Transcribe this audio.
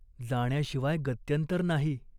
जाण्याशिवाय गत्यन्तर नाही.